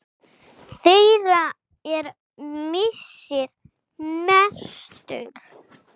Þeirra er missir mestur.